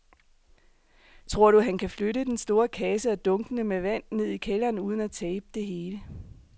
Tror du, at han kan flytte den store kasse og dunkene med vand ned i kælderen uden at tabe det hele?